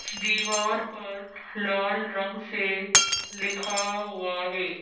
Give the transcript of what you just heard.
दीवार पर लाल रंग से लिखा हुआ है।